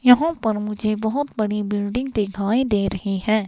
यहां पर मुझे बहुत बड़ी बिल्डिंग दिखाई दे रही है.